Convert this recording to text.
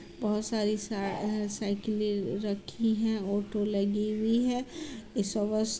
बहुत सारी साई- साइकिलें रखी हैं ऑटो लगी हुई है